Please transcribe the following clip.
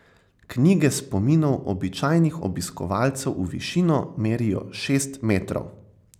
Knjige spominov običajnih obiskovalcev v višino merijo šest metrov.